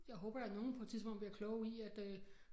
Jeg håber da nogle på et tidspunkt bliver kloge i at øh